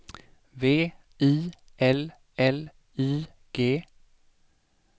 V I L L I G